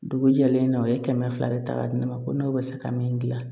Dugu jɛlen na u ye kɛmɛ fila de ta k'a di ne ma ko n'o bɛ se ka min gilan